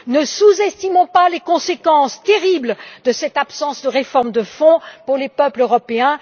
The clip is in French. Ne sous estimons pas les conséquences terribles de cette absence de réformes de fond pour les peuples européens.